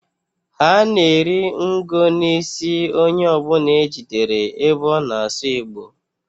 Ha na-eri ngo n'isi onye ọbụna e jidere ebe ọ na asụ Igbo.